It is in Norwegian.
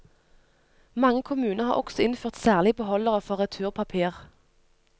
Mange kommuner har også innført særlige beholdere for returpapir.